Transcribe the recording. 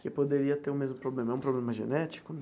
Que poderia ter o mesmo problema, é um problema genético?